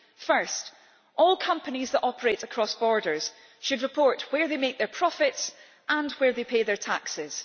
First, all companies that operate across borders should report where they make their profits and where they pay their taxes.